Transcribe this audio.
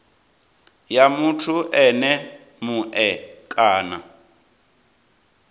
ya muthu ene mue kana